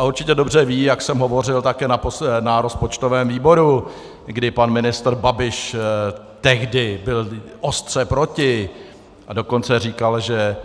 A určitě dobře ví, jak jsem hovořil také na rozpočtovém výboru, kdy pan ministr Babiš tehdy byl ostře proti, a dokonce říkal, že